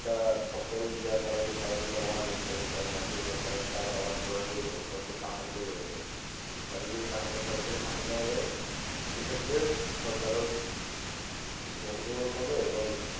এটা ফসল দেয়ার কারণে তারা যদি আবার বসে থাকে ছয় মাসে তিন মাস তাহলে তো আবাদ করার প্রয়োজন আছে তাদের যদি টাকাটা সরাসরি হাতে দেওয়া যায় সেক্ষেত্রে সরকারও কিছু profitable পাবে, এবং